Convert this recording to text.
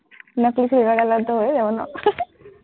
নকলি চুলি লগাই ল তো, হৈ যাব ন,